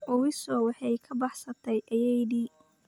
Owiso waxay ka baxsatay ayeeyadii